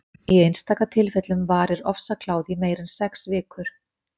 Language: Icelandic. í einstaka tilfellum varir ofsakláði í meira en sex vikur